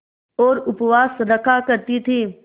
और उपवास रखा करती थीं